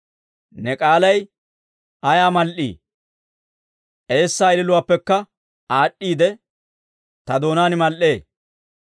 Ne k'aalay ayaa mal"ii! Eessaa ililuwaappekka aad'd'iide, ta doonaan mal"ee.